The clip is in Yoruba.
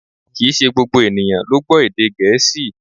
Kìí ṣe gbogbo ènìyàn ló gbọ́ èdè Gẹ̀ẹ́sì